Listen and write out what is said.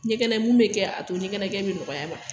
Ɲɛkɛnɛ mun be kɛ a to ɲɛkɛnɛkɛ be nɔgɔya a ma.